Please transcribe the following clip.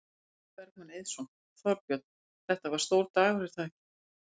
Logi Bergmann Eiðsson: Þorbjörn, þetta var stór dagur er það ekki?